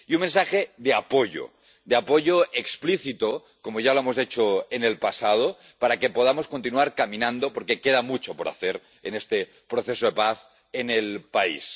Y un mensaje de apoyo, de apoyo explícito, como ya lo hemos hecho en el pasado, para que podamos continuar caminando, porque queda mucho por hacer en este proceso de paz en el país.